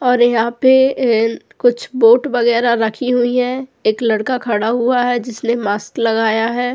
और यहां पे कुछ बोट वगैरा रखी हुई है एक लड़का खड़ा हुआ है जिसने मास्क लगाया है।